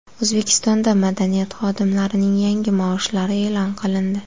O‘zbekistonda madaniyat xodimlarining yangi maoshlari e’lon qilindi.